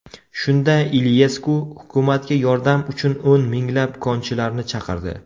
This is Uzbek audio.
Shunda Iliyesku hukumatga yordam uchun o‘n minglab konchilarni chaqirdi.